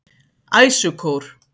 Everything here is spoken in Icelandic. Æsukór